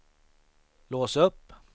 lås upp